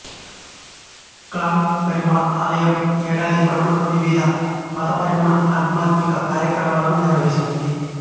clang Perumal ఆలయం ఏడాది పొడవునా వివిధ మతపరమైన ఆధ్యాత్మిక కార్యక్రమాలను నిర్వహిస్తుంది